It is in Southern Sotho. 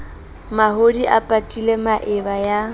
mahodi a patile maeba ya